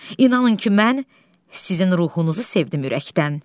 İnanın ki, mən sizin ruhunuzu sevdim ürəkdən.